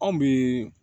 Anw bi